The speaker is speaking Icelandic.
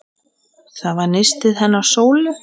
Það var nistið hennar Sólu.